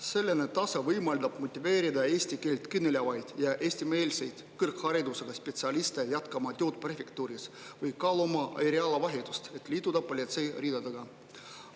Selline tase võimaldab motiveerida eesti keelt kõnelevaid ja eestimeelseid kõrgharidusega spetsialiste jätkama tööd prefektuuris või kaaluma eriala vahetust, et liituda politsei ridadega.